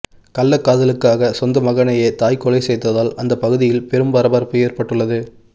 கள்ளக்காதலுக்காக சொந்த மகனையே தாய் கொலை செய்ததால் அந்த பகுதியில் பெரும் பரபரப்பு ஏற்பட்டுள்ளது